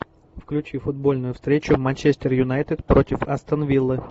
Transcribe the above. включи футбольную встречу манчестер юнайтед против астон виллы